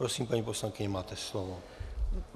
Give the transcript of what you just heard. Prosím, paní poslankyně, máte slovo.